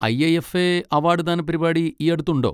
I. I. F. A award ദാന പരിപാടി ഈയടുത്തുണ്ടോ?